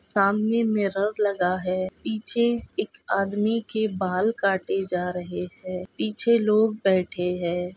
सामने मिरर लगा है। पीछे एक आदमी के बाल काटे जा रहे है। पीछे लोग बैठे है।